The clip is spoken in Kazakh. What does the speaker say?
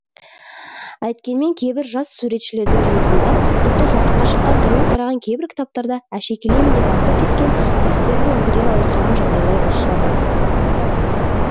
әйткенмен кейбір жас суретшілердің жұмысында тіпті жарыққа шыққан тәуір тараған кейбір кітаптарда әшекейлеймін деп артық кеткен дәстүрлі үлгіден ауытқыған жағдайлар ұшырасады